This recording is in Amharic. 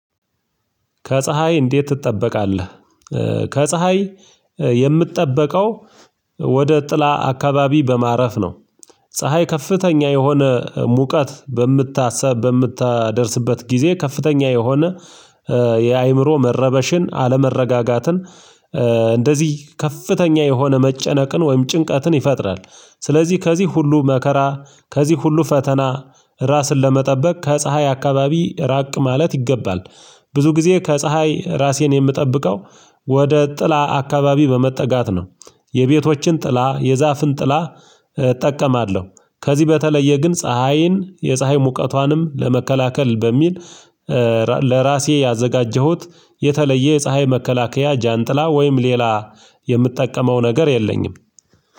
ከፀሀይ እንዴት ትጠበቃለህ? ከፀሀይ የምትጠበቀው ወደ ጥላ አካባቢ በማረፍ ነው። ፀሀይ ከፍተኛ የሆነ ሙቀት በምታሰብ በምታደርስበት ጊዜ ከፍተኛ የሆነ የአእምሮ መረበሽን አለመረጋጋትን እንደዚህ ከፍተኛ የሆነ መጨነቅን ወይም ጭንቀትን ይፈጥራል። ስለዚህ ከዚህ ሁሉ መከራ ከዚህ ሁሉ ፈተና ራስን ለመጠበቅ ከፀሀይ አካባቢ ራቅ ማለት ይገባል። ብዙ ጊዜ ከፀሀይ ራሴን የምጠብቀው ወደ ጥላ አካባቢ በመጠጋት ነው። የቤቶችን ጥላ የዛፍን ጥላ እጠቀማለሁ። ከዚህ በተለየ ግን ፀሀይን የፀሀይ ሙቀቷንም ለመከላከል በሚል ለራሴ ያዘጋጀሁት የተለየ የፀሀይ መከላከያ ጃንጥላ ወይም ሌላ የምጠቀመው ነገር የለኝም።